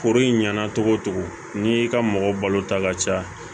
Foro ɲɛna togo togo n'i ka mɔgɔ balo ta ka caya